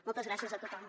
moltes gràcies a tothom